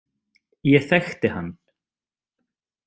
Ég þekkti hann